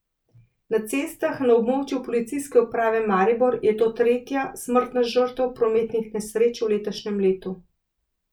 Na cestah na območju Policijske uprave Maribor je to tretja smrtna žrtev prometnih nesreč v letošnjem letu.